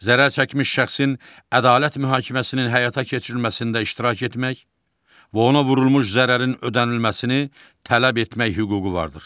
Zərər çəkmiş şəxsin ədalət mühakiməsinin həyata keçirilməsində iştirak etmək və ona vurulmuş zərərin ödənilməsini tələb etmək hüququ vardır.